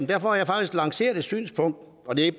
derfor har jeg faktisk lanceret et synspunkt og det er